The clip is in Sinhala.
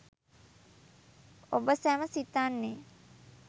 ඔබ සැම සිතන්නේ